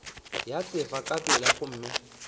ya sefala ka pela gomme